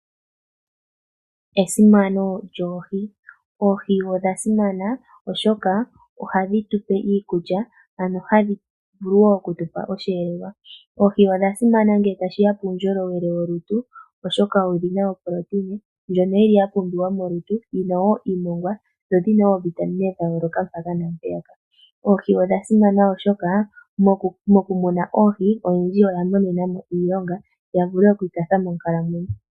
Esimano lyoohi Oohi odha simana, oshoka ohadhi tu pe iikulya, ano hadhi vulu wo oku tu pa osheleelwa. Oohi odha simana ngele tashi ya puundjolowele wolutu, oshoka odhi na ooproteina ndhoka dha pumbiwa molutu, dhi na wo iimongwa noovitamine ndhoka dha pumbiwa. Mokumuna oohi oyendji oya mona mo iilonga, ya vule oku ikwatha moonkalamwenyo.